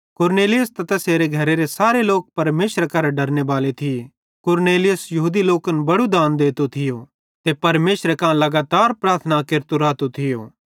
कुरनेलियुस त तैसेरे घरे सारे लोक परमेशरे करां डरने बाले थिये कुरनेलियुस यहूदी लोकन बड़ू दान देतो थियो ते परमेशरे कां लगातार प्रार्थना केरतो रातो थियो